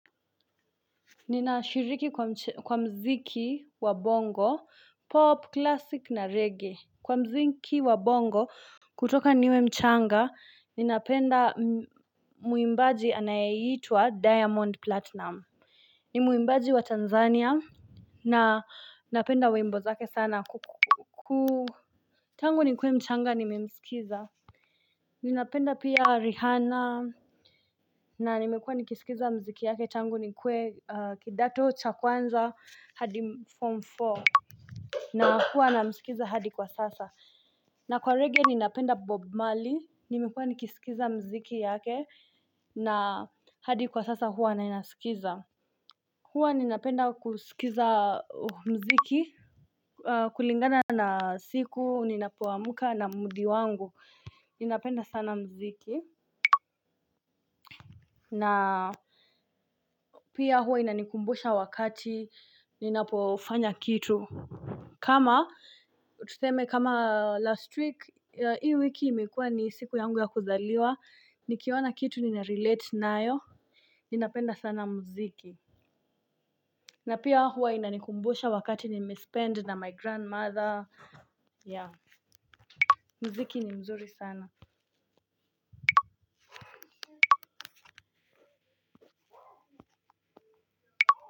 Ninashiriki kwa mziki wa bongo pop classic na reggae kwa mziki wa bongo. Kutoka niwe mchanga ninapenda muimbaji anayeitwa diamond platinum. Ni muimbaji wa tanzania na napenda wimbo zake sana ku tangu nikuwe mchanga nimemsikiza. Ninapenda pia rihana. Na nimekuwa nikisikiza mziki yake changu nikuwe kidato cha kwanza hadi form nne na hua namsikiza hadi kwa sasa. Na kwa rege ninapenda bob mali, nimekuwa nikisikiza mziki yake na hadi kwa sasa hua nainasikiza. Hua ninapenda kusikiza mziki kulingana na siku, ninapo amka na mudi wangu. Ninapenda sana mziki. Na pia huwa inanikumbusha wakati ninapofanya kitu. Kama tuseme kama last week hii wiki imekuwa ni siku yangu ya kuzaliwa. Nikiona kitu nina relate nayo. Ninapenda sana mziki. Na pia huwa inanikumbusha wakati nime spend na my grandmother mziki ni mzuri sana.